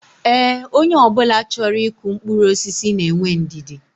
Ee, onye obula choro iku mkpuru osisi na enwe ndidi